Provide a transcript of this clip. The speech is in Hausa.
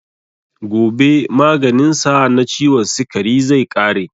Gobe maganin sa na ciwon sikari zai ƙare.